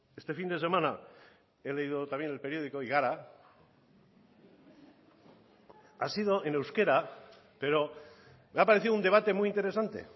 este fin de semana he leído también el periódico y gara ha sido en euskera pero me ha parecido un debate muy interesante